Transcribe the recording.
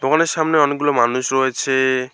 দোকানের সামনে অনেকগুলো মানুষ রয়েছে।